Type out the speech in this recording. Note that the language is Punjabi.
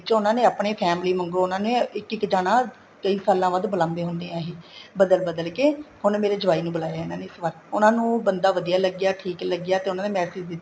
ਵਿਚੋਂ ਉਹਨਾ ਨੇ ਆਪਣੀ family ਚੋ ਵਾਂਗੂ ਉਹਨਾ ਨੇ ਇੱਕ ਇੱਕ ਜਾਣਾ ਕਈ ਸਾਲਾ ਬਾਅਦ ਬੁਲਾਦੇ ਹੁੰਦੇ ਹੈ ਏ ਬਦਲ ਬਦਲ ਕੇ ਹੁਣ ਮੇਰੇ ਜਵਾਈ ਨੂੰ ਬੁਲਾਇਆ ਇਹਨਾ ਨੇ ਉਹਨਾ ਨੂੰ ਬੰਦਾ ਵਧੀਆ ਲੱਗਿਆ ਠੀਕ ਲੱਗਿਆ ਤੇ ਉਹਨਾ ਨੇ massage ਦਿੱਤਾ